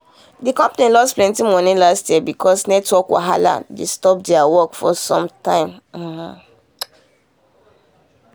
the company lose plenty money last year because network wahala dey stop their work for some time.